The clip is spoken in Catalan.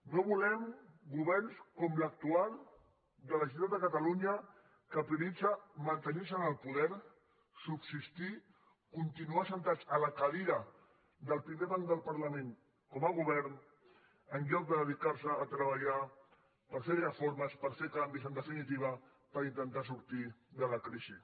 no volem governs com l’actual de la generalitat de catalunya que prioritza mantenir se en el poder subsistir continuar asseguts a la cadira del primer banc del parlament com a govern en lloc de dedicar se a treballar per fer reformes per fer canvis en definitiva per intentar sortir de la crisi